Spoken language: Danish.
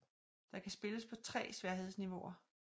Der kan spilles på tre sværhedsniveauer